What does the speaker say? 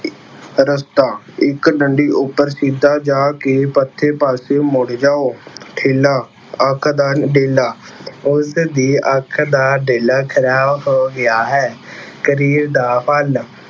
ਰਸਤਾ- ਇੱਕ ਡੰਡੀ ਉੱਪਰ ਸਿੱਧਾ ਜਾ ਕੇ ਪੁੱਠੇ ਪਾਸੇ ਮੁੜ ਜਾਉ। ਠੇਲਾ- ਅੱਖ ਦਾ ਡੇਲਾ - ਉਸਦੀ ਅੱਖ ਦਾ ਡੇਲਾ ਖਰਾਬ ਹੋ ਗਿਆ ਹੈ। ਕਰੀਰ ਦਾ ਫਲ-